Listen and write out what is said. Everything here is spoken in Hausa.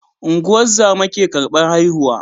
Ungozama ke karbar haihu